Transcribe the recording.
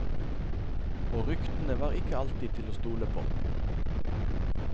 Og ryktene var ikke alltid til å stole på.